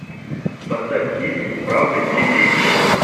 поставь фильмик правда или действие